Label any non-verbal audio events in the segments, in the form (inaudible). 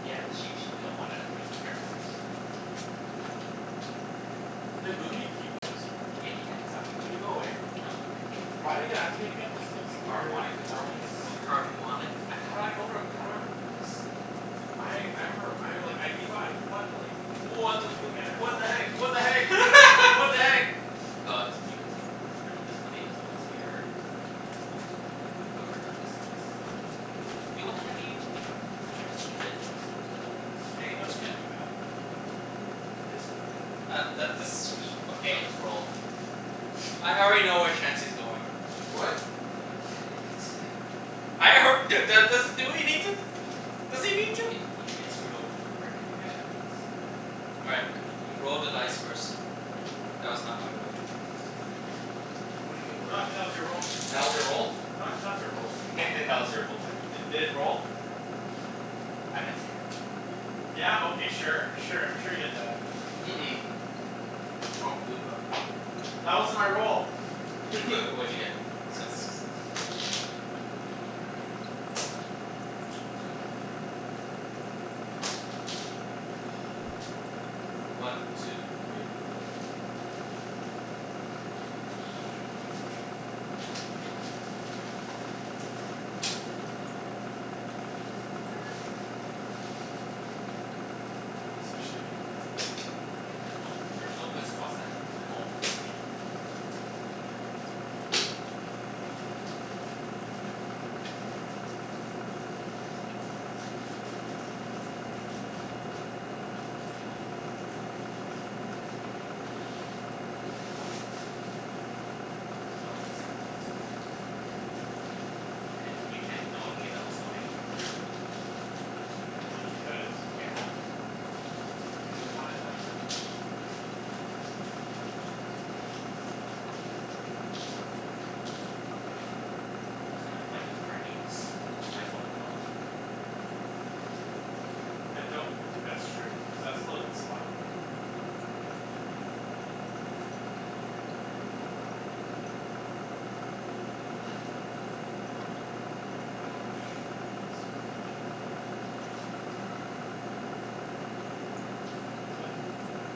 Yeah. She she only got one out of three. Air benders. (noise) Did Boomy keep his? Yeah, he kept his after. Did it go away? No, it (inaudible) (inaudible) again? Cuz like, some weird Harmonic phenomeno- convergence. oh. Harmonic A- how do I fucking know rem- how do I remember this? I I remember, I like, I keep o- I keep on like What the fu- thinking I never what the watched heck? it. What the heck? (laughs) What the heck? G- aw, this is pretty good too. There's pret- there's plenty of good spots here. Here's pretty good. But whoever, this is this is not gonna be used. Yo, what the heck are you doing? Just keep it. No, just keep it like it was. Hey, no, you can't do that. This is good, that's That that okay. this is s- fucked K, up. let's roll. I already know where Chancey's going. What? He didn't even look at it yet. Hold on. I alr- dude. Dude do- does do we need to? Yeah, Does he but need you could to? you could get screwed over for brick and Yeah. wheat. (inaudible) All Oh right. okay, just make You you sure. Roll the dice first. That was not my role. What do (inaudible) you mean your (inaudible) roll. That No. was your roll? (inaudible) your roll. (laughs) That was your roll, man. D- did it roll? I didn't see it. Yeah? Okay, sure. Sure, I'm sure you did that. Mm- mm. I don't believe that. That wasn't my roll! (noise) W- what'd (laughs) you (laughs) get? I got six. (inaudible) Two. (noise) (noise) One two three four. I'm actually gonna move my couch outta the way for this. (noise) It's so shitty. Yeah, there's no there's no good spots that involve three. (noise) Oh wait, except for that one spot. (laughs) You can't, no one can get double stone anymore. Unless you put it Well, here. you could. Yeah. If you really want it that bad. No one's gonna fight you for any of this. Just might as well move up. I don't think that's true. Cuz that's still a good spot. Yeah, okay. (noise) Like, I don't (noise) I hate this so much. Who's next? Me.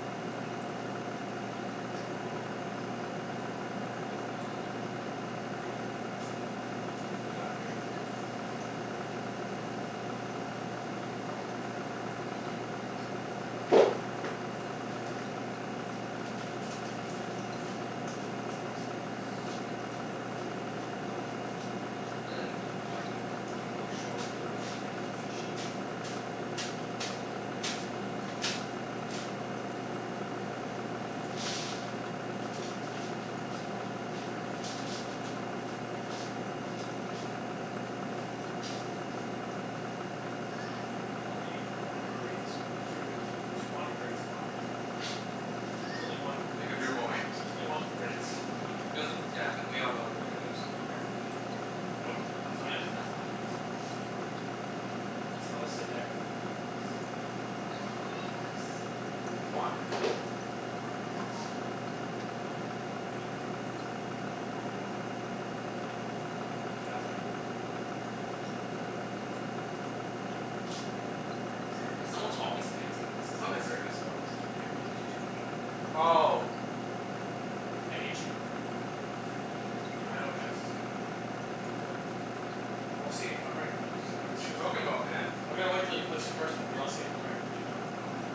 (noise) Who's after you? Uh Me. and then No, I'm, what? Mhm. (laughs) Wait, what? Yeah, that's what I'm thinking right now. Press the odds. But then keep in mind you you are short wood, wheat, and sheep. There's only one great s- no, two good spo- tw- one great spot. (laughs) There's only one great Make up your s- mind. There's only one great spot. Yeah. (noise) There's, yeah, and we all know where it is. Where? Nope. That's not Yeah that's it. that's not a great spot. It's close to there. Yeah, it's here. Obvious. Come on, Mat. (noise) See, that's why I didn't put my ruin there. That's not Mm, a k, good as sp- someone's obviously gonna take that That's spot. not a very good spot cuz you can't really do too much with it. Oh! I hate you. (noise) I know what Chancey's gonna do. What? We'll see if I'm right. I'm s- Wh- I'm what you s- (inaudible) talking about, man? I'm gonna wait until you place your W- first one, w- then I'll what see if I'm w- right. what you talking about, man?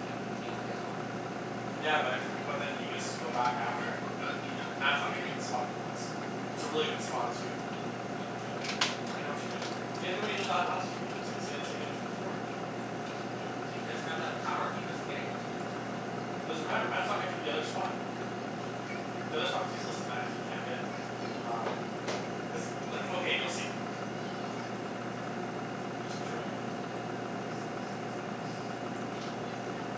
He, what do you, he only has one in a Yeah, That's but the one but then he he has gets to move. to go back after and n- and he Mat's not gonna take the spot he wants. It's a really good spot, too. What you what you talking about, man? I know what you're gonna do. He's gonna do what he did that last few games. He's gonna take a tw- a port. What But he you talking doesn't about? have that power. B- he doesn't get to go two times in a row. Doesn't matter. Mat's not gonna take the other spot. The other spot's useless to Mat if he can't get uh cuz, like, okay, you'll see. (laughs) (noise) Can you just put your red down? Yeah. Yes, yes, yes boss. (noise)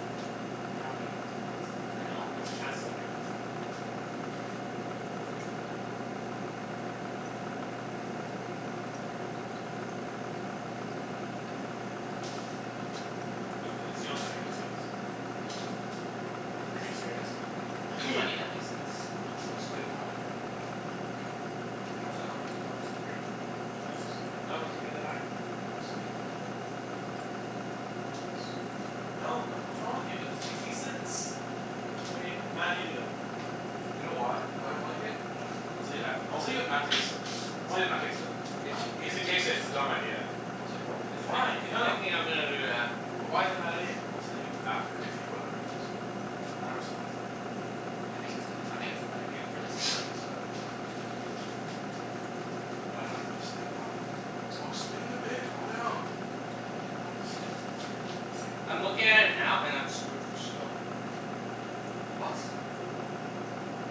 You're not gonna get that spot. I know I- I'm not cuz gonna get it. Chancey's gotta Yeah. get that spot. (laughs) Chancey, can you go? It's it's the only thing that makes sense. Is he being There's Doesn't there's serious? doesn't doesn't make sense. there's (noise) plenty that make sense. I'll explain why in a bit. (noise) How does that not make se- oh, cuz of three? I No it's, still don't get it. no No, you can get it's the nine. No, I'll explain in a bit. Hold on. I like this spot. (noise) No, what what's wrong with you? That's make any sense. Okay. Mat, you do it. You know why I don't Why? like it? Why? I'll tell you at, I'll tell you if Mat takes it. I'll tell Why? you if Mat takes it. K, so Why? he's If he he takes it, it's a dumb idea. I'll tell you why in he's a bit. thi- Why? he's No, no. thinking I'm gonna do that. But why is it a bad idea? I'll tell you after if he, whether or not he picks it. I don't understand why it's a bad idea. I It's think a it's a, I think it's a bad idea, for this board. (noise) (noise) (noise) It's a bad idea. But I don't understand why. I'll explain in a bit. Calm down. I just, I think it's weird that you say that. I'm looking at it now, and I'm screwed for stone. (noise) What?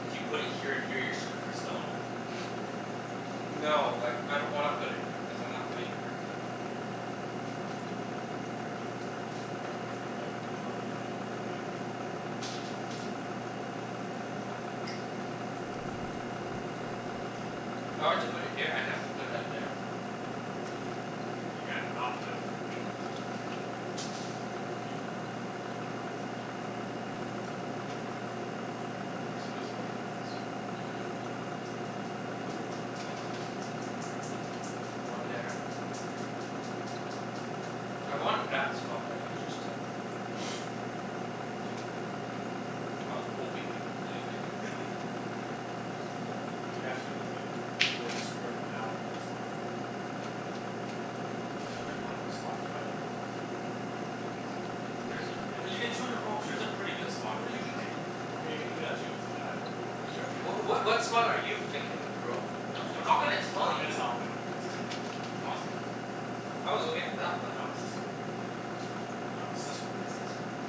If you put it here and here you're screwed for stone? (noise) (laughs) No, like, I don't wanna put it here cuz I'm not playing the brick game. But you need brick. Everyone ne- everyone pl- everyone's playing the brick game, what's wrong with you? (noise) If I were to put it here, I'd have to put that there. (noise) You can't not play the brick game. (noise) Can you go? (noise) There's some Yeah. good spots over on this side. Mhm. There's two good spots. (noise) Three. (noise) One there. I wanted that spot that you just took. (noise) (noise) Tough luck, buddy. I was hoping you wouldn't take it. (laughs) Just (noise) You have hopin'. to do the thing where you screw everyone out of a good spot. Yeah. There's There's some only pretty good one good ones. spot to play it. There's There's some some pretty good places. pretty good Cuz you get spots. two, you roll There's a two. pretty good spot in What are you Mat's doing? corner. Okay, you can do that too. That's actually (inaudible) Cuz you Ye- have two more w- of what what spot are you thinking of, bro? I'm No, not we're not gonna gonna tell you I dunno, tell I'm gonna you. tell him. I don't care. It's this one. I was thinking I was looking at that one. No, it's this one. I was thinking this one. No, it's this one. It's this one.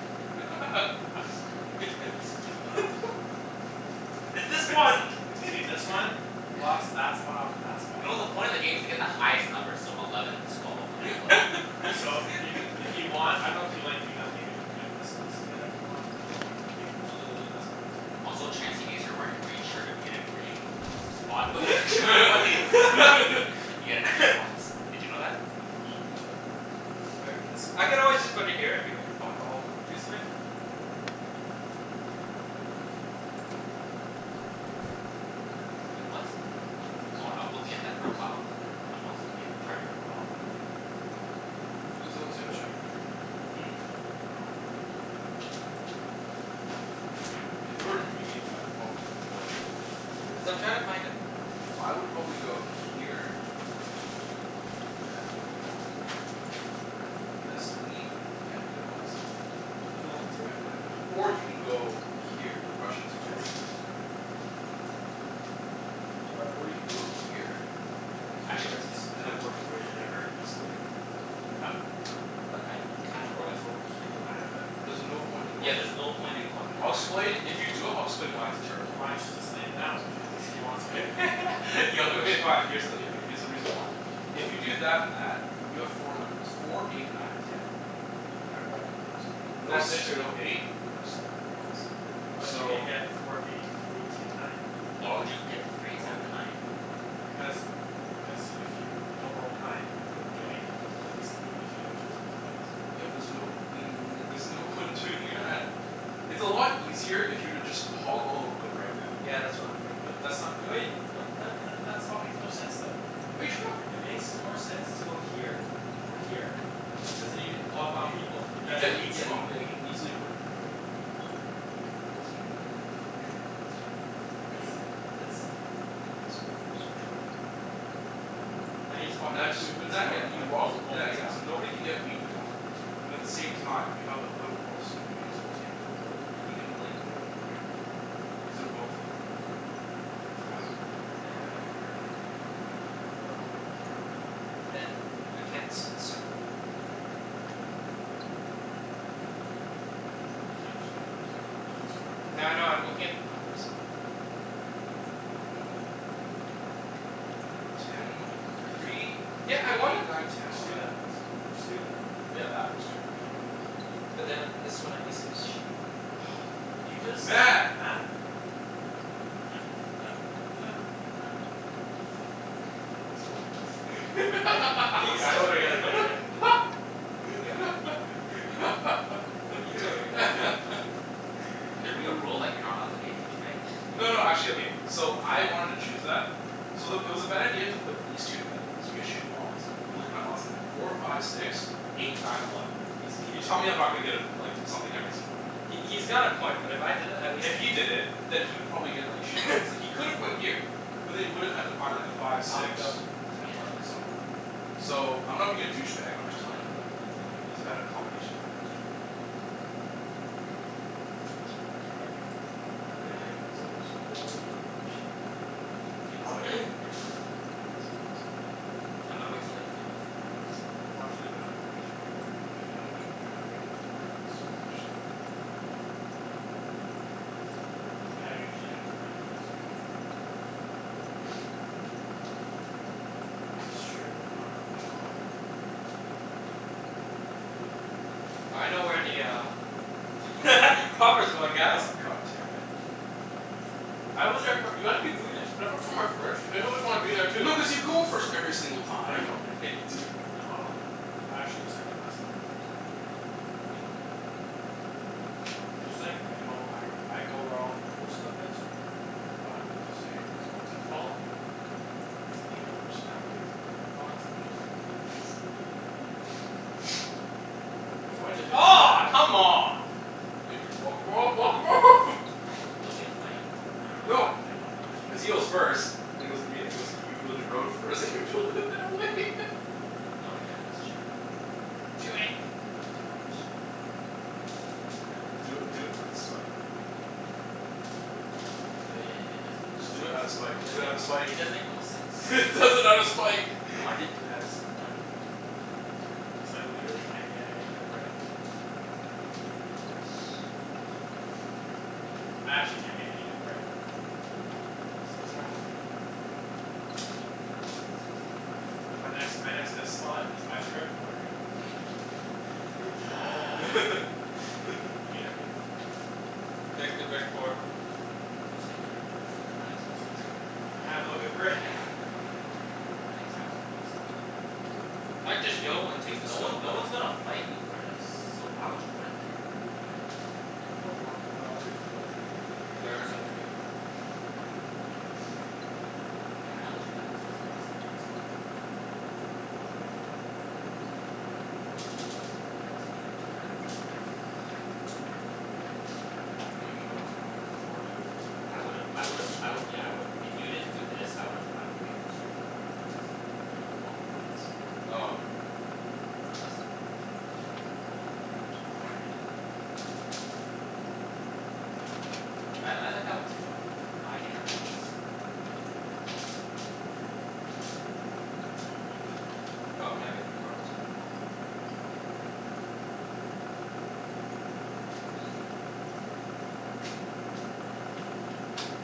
I'm just (laughs) (laughs) What me- the (laughs) f- It's this one! See this one? (laughs) Blocks (laughs) that spot off from that spot. You know the point of the game is to get the highest numbers, so eleven twelve and eleven, right? So, you can if you want, I dunno if you like (laughs) doing that thing where you can connect this and this together if you want? You can take cuz those are, those are the best points right now in the Also, game. Chancey, because you're wearing a green shirt, if you get a green (laughs) spot, The you get extra points. f- (laughs) (laughs) You get an extra points. (laughs) Did you know that? Shut up. Where is my I could always just put it here, and be like, "Fuck all." Did you see my phone? Nope. Wait, what? My foot's Oh, gonna I was fall looking at asleep that for a very while. I'm soon. like, that, um I was looking at your charger for a while, then I'm like (noise) Is that it I'm on gonna the go table? check. Hmm. Oh. If it were me, I'd probably go Cuz I'm trying to find a I would probably go here and I would probably go here. Best wheat and good odds on wood. Does no one see my phone anywhere? Or you can go here Or I shouldn't, sorry, or you Chancey? can, sorry? No, I'm sorry. Uh, or you can go here and then I actually There it don't here, see it. is. I and found then it. work your way to there very (noise) easily. I found it. But I kinda Where wanna was it? go It was here. behind that bag. There's no point in Yeah, going there's no there. point in going there, I'll Mat. explain, if you do it I'll explain why it's a terrible idea. Why don't you just explain it now? If you, Cuz if he he wants to go there? wants (laughs) yo Okay fine. Here's the, yeah, okay, here's the reason why. If you do that and that you have four numbers. Four eight nine and ten. Out of all numbers. No That's six, true. no eight? No seven, obviously. But you So can get four eight three ten nine. Why would you get the Why three instead w- of the nine? Because n- cuz if you don't roll nine, you don't get anything, but at least three gives you another chance of getting something else. Yeah but there's no, then there's no point in doing Yeah. that. It's a lot easier if you were to just hog all the wood right now. Yeah, that's what I'm thinking. But that's not great. What then m- that that spot makes no sense though. Are you trying to It argue with me makes or more something? sense to go here. Or here. Cuz then you can block off Y- people from the y- yeah best you, wheat spot. yeah you can easily work your way. To a yeah, that's true. (laughs) That's true. It's Yeah. the, it's (noise) Take this one first, for sure. K. Now you just blocked Now that just too good not, yeah spot. (inaudible) and you walk th- yeah yeah, spot. so nobody can get wheat now. But the same time you have the wood port, so you may as well take good wood. And you can like put it like here or here. Cuz they're both like equally I would put it, Yeah, I yeah, for Yeah. the think. brick. Hold on, let me count. But then, I can't c- encircle the What are you talking about? You can, but you can only put two Nothing. two properties here. Yeah, I know. I'm looking at the numbers. Wait, what? Why don- Ten why don't you consider this one? three Yeah, I three wanna eight nine ten Just do that. eleven. That's not Just do bad. that. Yeah, that works too, actually. Yeah, that's nice. But then this one at least gives sheep. (noise) Can you (noise) just? Mat. Mat! (noise) (noise) Oh thank fuck. He's gonna put it th- he's gonna put it there. Yeah, Are you he's actually totally putting it gonna put it there. there? (laughs) Yeah, he He totally did it. Can there be a rule like, you're not allowed to (laughs) be a douchebag? No no, actually, okay So I wanted to choose that so the, it was a bad idea to put these two together because you get shitty odds. But look at my odds now. Four five six. Eight nine eleven. He's he he You tell me I'm not gonna get a like something every single round. He he's got a point, but if I did it at least If he did it, then he would probably get like shitty odds. (noise) It's like he could have gone here. But then he would have had to find like a five, Alvin, six. go. Ten, Yeah. eleven somewhere. So, I'm not being a douchebag I'm just telling him that that that's like it's a better combination to have those two together. (noise) But you are being a douchebag. I'm That's not a going dou- to build douchebag up move. sh- You can Alvin. put (noise) put your road down. Yeah, sorry, sorry. (noise) I'm gonna wait til they put their roads down before I (noise) decide. He wants to know h- if he's screwing you over or not cuz he wants Yeah. half my happiness. Yeah. (inaudible) (noise) I usually have more happiness if I know I'm screwing someone over. (noise) Well, it's just true. I'm not gonna lie. (noise) I know where the um (laughs) Robber's going, guys. Oh, god damn it. I was there fir- (inaudible) When I go somewhere first you always wanna be there too. No, cuz you go first every single No, I time. don't. (laughs) Yeah, you do. Nuh- ah. I actually go second last a lot of times. (noise) (noise) I'm just saying, like I know I I go where all the cool stuff is but I'm just saying, you guys are the ones that follow me. (inaudible) your own personalities your own thoughts and feelings. (noise) (laughs) (laughs) (laughs) Why'd you have to do Aw, that? come on. You can block him off, block him off! No, (laughs) it'll be a fight. I dunno No. if I I dunno if I make Cuz he goes (inaudible) first and then goes to me, and then goes to you build your road first and you build it that way. (laughs) Oh yeah, that's true. Do it. (noise) Do it. (noise) It is kind of a long Do it, do it for game the plan. spite. (noise) But i- i- it and it does make it Just does do make it it out of spite. Do it out of does make spite! it does make the most sense. (laughs) He does it out of spite! No, I (laughs) didn't do it outta spite, man. K, so I literally can't get any good brick. Doo doo doo and wood. I actually can't get any good brick. It's so sad. Six (noise) ten eleven But my next my next (inaudible) best spot is by the brick port. (laughs) (noise) I (laughs) hate (laughs) everything. (noise) Take the brick port. Just take the brick port. But then that makes no sense for I have no good brick. Yeah. That makes absolutely no sense for him. I'd just (inaudible) and take Cuz the no stone one no port. one's gonna fight you for this. So why would you put it there? But Yeah. wh- what other good spots are there? There isn't any. (laughs) (laughs) Yeah, I only took that cuz it was the last good spot. Otherwise, if you didn't do that I would've done that. (noise) (noise) What do you mean you would've went, you would've went for the port too? I would've I would've I would've, yeah, I would've, if you didn't do this, I would've went wait straight for the port and then you guys wouldn't have been able to block me for that. Oh no, yeah. Unless you decided like, build all the way around before I did. But I I like that one too. Cuz now I get wheat. Little bit of wheat. Yeah, that makes sense. (noise) No, I'm gonna get my cards. Okay, go get 'em. (inaudible)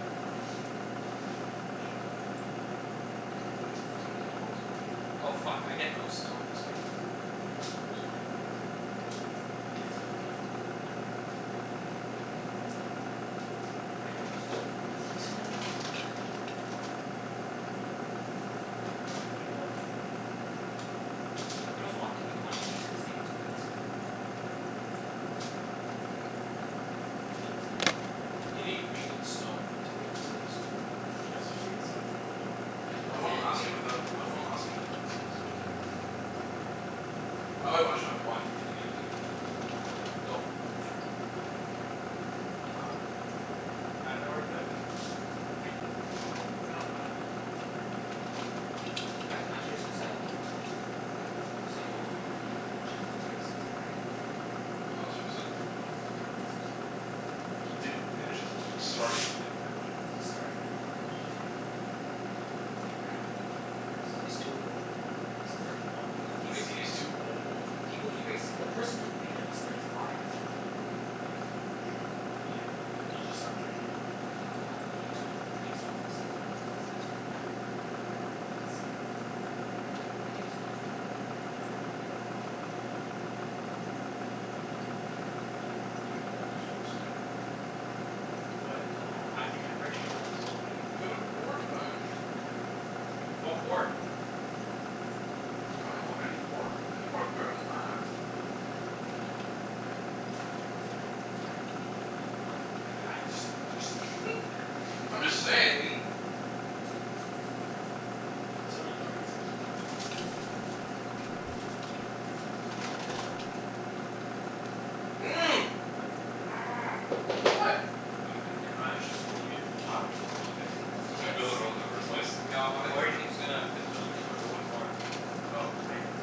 What color are you? I always forget. Orange. (inaudible) For th- for some reason I'm always orange now. Oh fuck, I get no stone this game. Who cares? Yeah, I don't get any stone either. But Chancey doesn't get any wheat. And you're closest to the wheat port. (laughs) Mm. I have no idea where to build. Yeah, if there was one thing you wouldn't need in this game, it's wheat. You need a little bit of it. Yeah, you just need a little bit of it. A You n- need wheat and stone to build cities, though. And you That's also need wheat and stone to get a development card. Yeah, but I that's won the end last game without, game. That's I won last end game game. without a single city. I Oh wait, actually I had (noise) one (inaudible) near the end of the game. (noise) Go. Yeah. Um I dunno where to put it. (noise) Anywhere. No, not anywhere. Guys, I'm actually so sad. What? Usain Bolt didn't even finish his last race cuz he cramped up. Oh, seriously? Yeah. So sad. He didn't finish? As in like, he started but he didn't finish? He started. He didn't finish. Damn. He ran maybe twenty meters. He's too old. He's thirty one. No, People it he doesn't raced mean he's against too old. People he raced, the person who beat him was thirty five. Ouch. He just stopped training? Uh, he took three weeks off this season cuz his like best friend died. That's Mm. sad. And he wasn't really motivated after winning gold in Rio. Woah, seriously? What? I can't get brick Daw anywhere else. Get a port then. (noise) What port? I dunno, any port. Any port's better than that. But like, I d- I just just (noise) (laughs) I'm just saying. T- t- t- t- There's really no reason to get it. (noise) I don't wanna, how am I gonna do this? (noise) What? What? I don't get I'm how they're actually only gonna take Why w- sheep. were you gonna take that spot? Cuz he's gonna build a road in the first place? No, I'm worried (laughs) he's gonna consistently go to wood port. Oh, I am.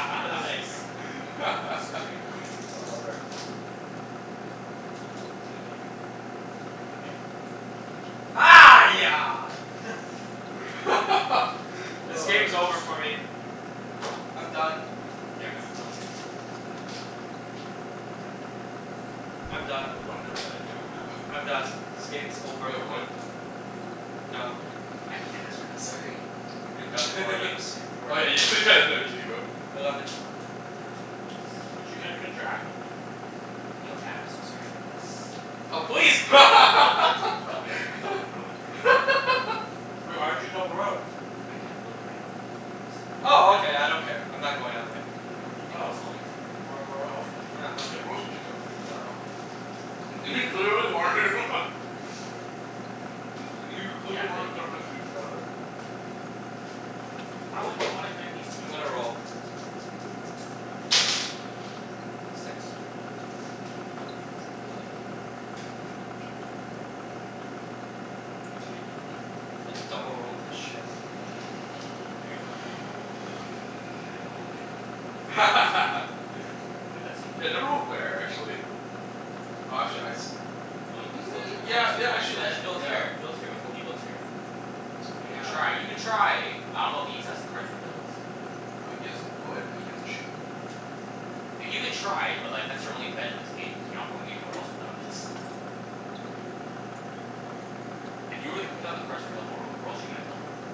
(inaudible) nice. Straight up. Straight up. Oh, wrecked. Four. Oh, did I get anything? No, I didn't. I did. Okay. (noise) (laughs) (laughs) This Oh, game's that's nice. over for me. I'm done. (inaudible) You're g- oh, you already did something? Ten. I'm I got done. the one number that I don't have. I'm done. (laughs) This game's over Anybody have for me. wood? No. I hated this No? round, Sorry. You're done, Okay. poor Ibs. (laughs) You are Oh yeah you (laughs) you did go. Eleven. Eleven. I Hey. get wheat. Gee. But you can't even interact with me. Yo Mat, I'm so sorry for this. Oh please! Double double road. (laughs) Woah, why'd you double road? D- I can't build there anyways. I'm still building these two. Oh, Oh, okay. you I don't (inaudible) care. I'm not going that way. W- w- where do you think I was Oh. going? Why, wh- where else would he Nah, wanna Yeah, nothing. where else would you go? I dunno. (laughs) He clearly wanted him. (laughs) (laughs) Looks like, he Yeah, clearly I'm wanted good. (inaudible) You can go. together. (noise) Why wouldn't you wanna connect these three I'm gonna together? roll. (noise) Go. Six. Whatcha gonna do, Mat? I double road this shit. Double road where? He's gonna try to go all the way around and beat him. One two. (laughs) Wait, that's you. Yeah, double road where, actually? (noise) Oh, actually I s- Oh, you can still Mm, try. Once yeah you yeah, once actually you and then actually build yeah here build here, before he builds here. You can Yeah. try. You can try. But I dunno if Ibs has the cards to build. No, he has a wood and he has a sheep right now. Th- you can (noise) try, but like, that's your only bet in this game cuz you're not going anywhere else without it. (noise) (noise) And you already put down the cards for double road. Where else you gonna double road?